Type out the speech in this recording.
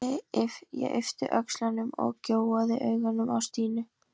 Þú ert viss um að hann leiki ekki tveim skjöldum?